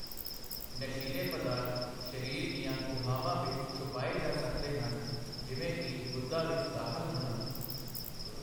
ਨਸ਼ੀਲੇ ਪਦਾਰਥ ਸਰੀਰ ਦੀਆਂ ਗੁਹਾਵਾਂ ਵਿੱਚ ਛੁਪਾਏ ਜਾ ਸਕਦੇ ਹਨ, ਜਿਵੇਂ ਕਿ ਗੁਦਾ ਵਿੱਚ ਦਾਖਲ ਹੋਣਾ।